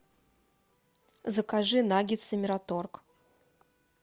закажи наггетсы мираторг